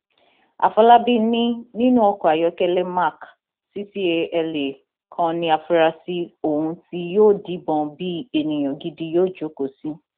àfọlábí ni nínú ọkọ ayọkẹlẹ mark ccala kan ní àfúráṣí ohun tí yóò díbọn bíi ènìyàn gidi yóò jókòó sí